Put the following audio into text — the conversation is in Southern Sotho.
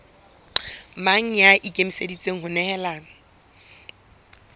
mang ya ikemiseditseng ho nehelana